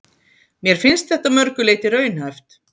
Mér finnst þetta að mörgu leyti raunhæft.